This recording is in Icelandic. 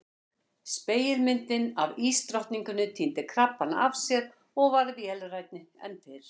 Spegilmyndin af ísdrottninguni týndi krabbana af sér og varð vélrænni en fyrr.